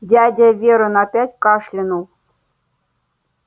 дядя вернон опять кашлянул